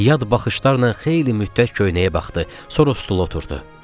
Yad baxışlarla xeyli müddət köynəyə baxdı, sonra stula oturdu.